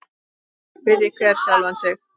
Spyrji hver sjálfan sig.